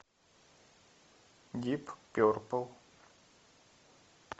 дип перпл